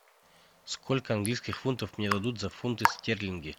сколько английских фунтов мне дадут за фунты стерлинги